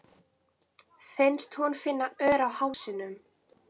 Finnst hún finna ör á hálsinum.